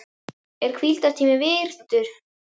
Er hvíldartími virtur?